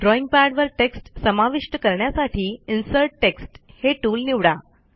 drawing पॅडवर text समाविष्ट करण्यासाठी इन्सर्ट टेक्स्ट हे टूल निवडा